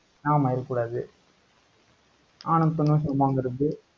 ஆமா இருக்கக் கூடாது. ஆணும் பெண்ணும் சமங்கிறது